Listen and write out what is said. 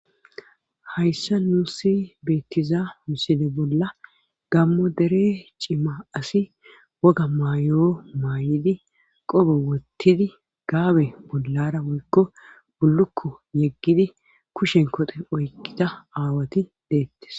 hayssa nuussi beettiza misile bolla gammo dere cima asi woga mayoo maay7idi qobe wottidi gaabe bollara woykko bullukko yeggidi kushen kote oykkida aawati deettes